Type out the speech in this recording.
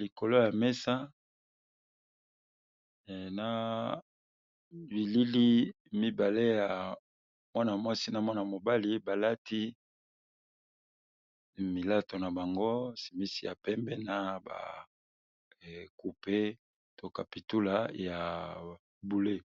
likolo ya mesa na bilili midale ya Mwana mwasi na mobali balati bilato nabango shemisi ya pembe na coupe po kapitula ya bonzinga.